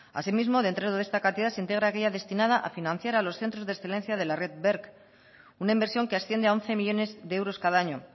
asimismo dentro de esta cantidad se integra aquella destinada a financiar a los centros de excelencia de la red berc una inversión que asciende a once millónes de euros cada año